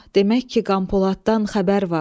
demək ki qanpoladdan xəbər var.